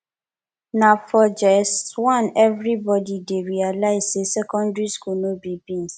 na for js one everybody dey realize say secondary school no be beans